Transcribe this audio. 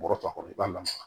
Bɔrɔtɔ kɔrɔ i b'a lamaga